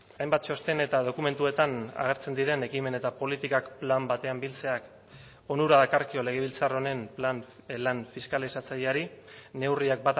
hainbat txosten eta dokumentuetan agertzen diren ekimen eta politikak plan batean biltzeak onura dakarkio legebiltzar honen plan lan fiskalizatzaileari neurriak